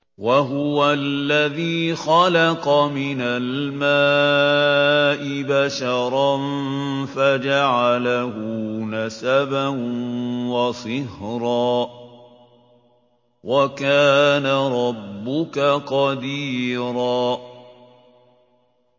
وَهُوَ الَّذِي خَلَقَ مِنَ الْمَاءِ بَشَرًا فَجَعَلَهُ نَسَبًا وَصِهْرًا ۗ وَكَانَ رَبُّكَ قَدِيرًا